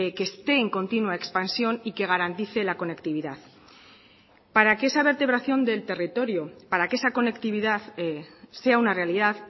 que esté en continua expansión y que garantice la conectividad para que esa vertebración del territorio para que esa conectividad sea una realidad